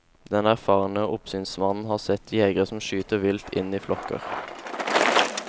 Den erfarne oppsynsmannen har sett jegere som skyter vilt inn i flokker.